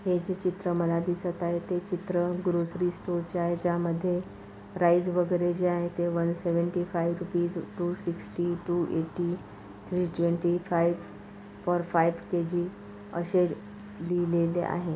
हे जे चित्र मला दिसत आहे ते चित्र ग्रोसरी स्टोरचे आहे ज्यामध्ये प्राईज वगैरे जे आहे ते one seventy five rupees two sixty two eighty three twenty five four five K G अशे लिहिलेले आहे.